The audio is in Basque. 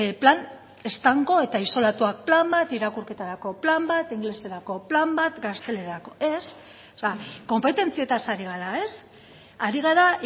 plan estanko eta isolatuak plan bat irakurketarako plan bat ingeleserako plan bat gaztelaniarako ez konpetentzietaz ari gara ez ari gara